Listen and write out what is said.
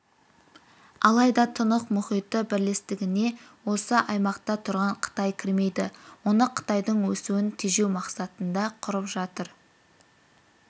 алайда тынық мұхиты бірлестігіне осы аймақта тұрған қытай кірмейді оны қытайдың өсуін тежеу мақсатында құрып жатыр